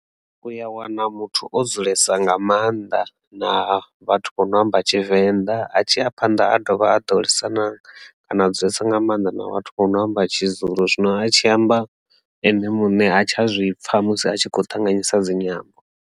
U ya wana muthu o dzulesa nga maanḓa na vhathu vho no amba Tshivenda a tshi a phanḓa a dovha a ḓo lwisana kana dzulesa nga maanḓa na vhathu vho no amba Tshizulu zwino a tshi amba ene muṋe ha tsha zwipfha musi a tshi kho ṱanganyisa dzinyambo.